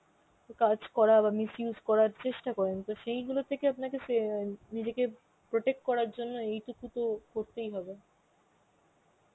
কাজ করার বা misuse করার চেষ্টা করেন, তো সেইগুলো থেকে আপনাকে সে~ অ্যাঁ নিজেকে protect করার জন্য এইটুকু তো করতেই হবে